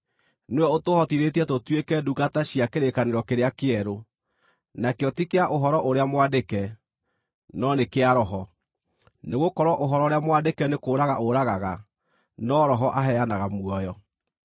Nĩwe ũtũhotithĩtie tũtuĩke ndungata cia kĩrĩkanĩro kĩrĩa kĩerũ, nakĩo ti kĩa ũhoro ũrĩa mwandĩke, no nĩ kĩa Roho; nĩgũkorwo ũhoro ũrĩa mwandĩke nĩ kũũraga ũragaga, no Roho aheanaga muoyo.